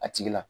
A tigi la